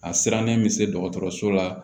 A sirannen bɛ se dɔgɔtɔrɔso la